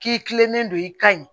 K'i kilennen don i kan ye